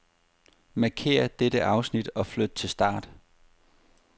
Markér dette afsnit og flyt til start.